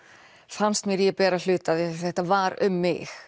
fannst mér ég bera hluta af því þetta var um mig